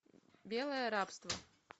белое рабство